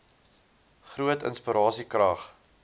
groot inspirasie krag